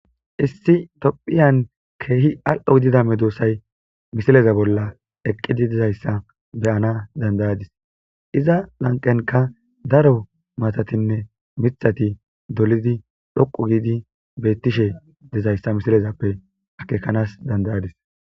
Issi topphiyan keehi al7o gidida medoosay misileza bolla eqqidi dizayssa beyana dandayadis iza lanqenka daro matatinne mithati dolidi dhoqu giidi beettishe dizayssa misilezappe akekanas dandayadis.